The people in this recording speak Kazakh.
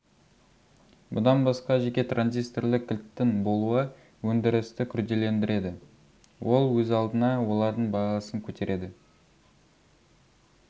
бұдан басқа жеке транзистірлі кілттің болуы өндірісті күрделендіреді ол өз алдына олардың бағасын көтереді